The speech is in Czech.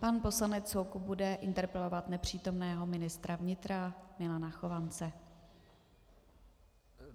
Pan poslanec Soukup bude interpelovat nepřítomného ministra vnitra Milana Chovance.